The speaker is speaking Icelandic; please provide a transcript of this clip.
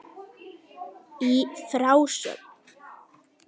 Í frásögn